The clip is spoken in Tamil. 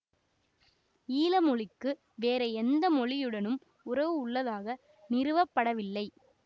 ஈல மொழிக்கு வேறு எந்த மொழியுடனும் உறவு உள்ளதாக நிறுவப்படவில்லை